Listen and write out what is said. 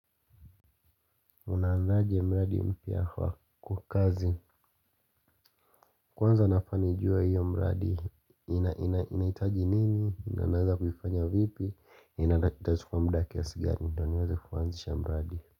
Unaanzaje mradi mpya kwa kazi. Kwanza nafaa nijue hiyo mradi ninahitaji nini, na naweza kuifanya vipi ninadhani itachukua muda kiasi gani ndio niweze kuanzisha mradi.